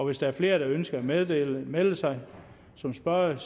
hvis der er flere der ønsker at melde melde sig som spørgere